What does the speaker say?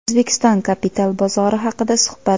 O‘zbekiston kapital bozori haqida suhbat.